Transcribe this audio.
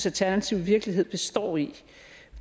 alternative virkelighed består i